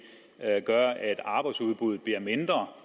gør at arbejdsudbuddet bliver mindre